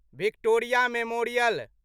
Victoria memorial